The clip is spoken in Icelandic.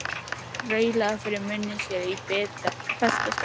Raulaði fyrir munni sér í besta skapi.